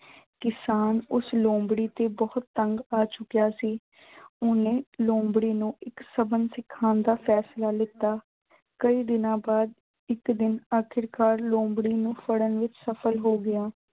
ਕਿਸਾਨ ਉਸ ਲੋਮੜੀ ਤੋਂ ਬਹੁਤ ਤੰਗ ਆ ਚੁੱਕਿਆ ਸੀ। ਓਹਨੇ ਲੋਮੜੀ ਨੂੰ ਇੱਕ ਸਬਕ ਸਿਖਾਉਣ ਦਾ ਫੈਸਲਾ ਲੀਤਾ। ਕਈ ਦਿਨਾਂ ਬਾਅਦ ਇੱਕ ਦਿਨ ਆਖਿਰਕਾਰ ਲੋਮੜੀ ਨੂੰ ਫੜਣ ਵਿੱਚ ਸਫ਼ਲ ਹੋ ਗਿਆ।